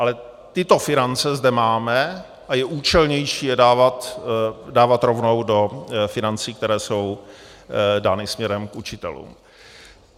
Ale tyto finance zde máme a je účelnější je dávat rovnou do financí, které jsou dány směrem k učitelům.